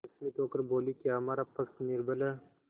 विस्मित होकर बोलीक्या हमारा पक्ष निर्बल है